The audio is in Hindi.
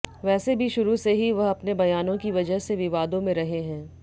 वैसे भी शुरू से ही वह अपने बयानों की वजह से विवादों में रहे हैं